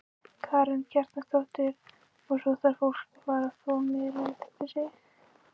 Karen Kjartansdóttir: Og svo þarf fólk að fara að þvo meira eftir sig?